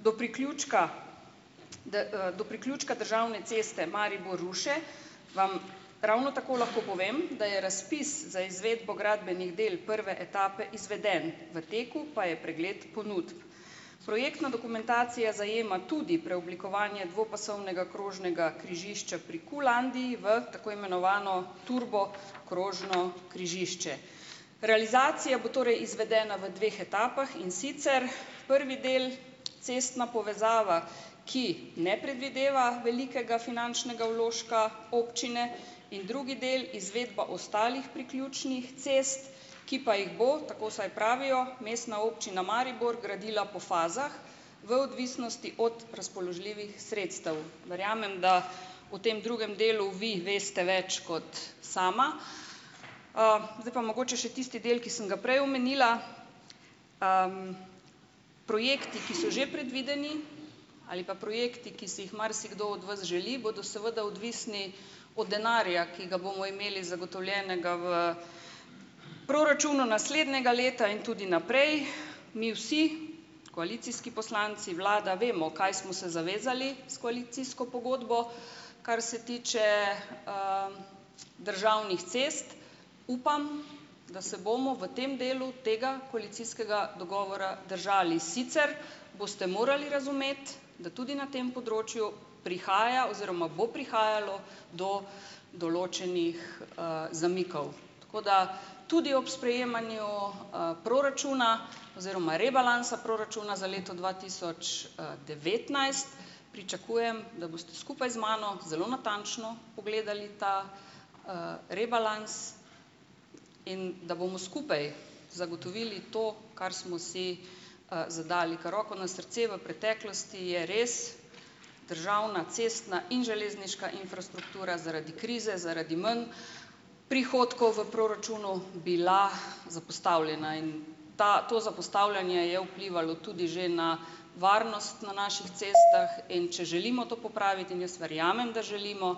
do priključka do priključka državne ceste Maribor-Ruše, vam ravno tako lahko povem, da je razpis za izvedbo gradbenih del prve etape izveden, v teku pa je pregled ponudb. Projektna dokumentacija zajema tudi preoblikovanje dvopasovnega krožnega križišča pri Qlandia, v tako imenovano turbo krožno križišče. Realizacija bo torej izvedena v dveh etapah, in sicer prvi del cestna povezava, ki ne predvideva velikega finančnega vložka občine in drugi del izvedba ostalih priključnih cest, ki pa jih bo, tako vsaj pravijo mestna občina Maribor gradila po fazah, v odvisnosti od razpoložljivih sredstev. Verjamem, da v tem drugem delu vi veste več kot sama. Zdaj pa mogoče še tisti del, ki sem ga prej omenila. Projekti, ki so že predvideni ali pa projekti, ki si jih marsikdo od vas želi, bodo seveda odvisni od denarja, ki ga bomo imeli zagotovljenega v proračunu naslednjega leta in tudi naprej. Mi vsi, koalicijski poslanci, vlada vemo, kaj smo se zavezali s koalicijsko pogodbo, kar se tiče državnih cest. Upam, da se bomo v tem delu tega koalicijskega dogovora držali, sicer boste morali razumeti, da tudi na tem področju prihaja oziroma bo prihajalo do določenih, zamikov. Tako da tudi ob sprejemanju, proračuna oziroma rebalansa proračuna za leto dva tisoč, devetnajst pričakujem, da boste skupaj z mano zelo natančno pogledali ta, rebalans in da bomo skupaj zagotovili to, kar smo si, zadali. Ker roko na srce v preteklosti je res državna cestna in železniška infrastruktura zaradi krize zaradi manj prihodkov v proračunu, bila zapostavljena in ta to zapostavljanje je vplivalo tudi že na varnost na naših cestah, in če želimo to popraviti in jaz verjamem, da želimo,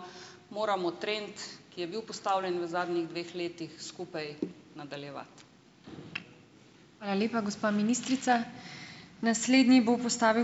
moramo trend, ki je bil postavljen v zadnjih dveh letih skupaj nadaljevati.